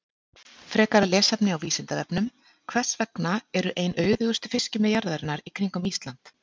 Frekara lesefni á Vísindavefnum: Hvers vegna eru ein auðugustu fiskimið jarðarinnar í kringum Ísland?